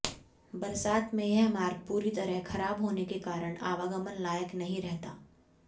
बरसात में यह मार्ग पूरी तरह खराब होने के कारण आवागमन लायक नहीं रहता